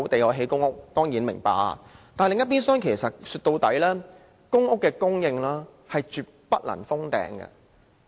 我們當然明白，但另一邊廂，歸根究底，公屋供應絕不能"封頂"。